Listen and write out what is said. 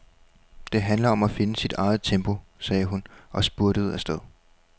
Det handler om at finde sit eget tempo, sagde hun og spurtede afsted.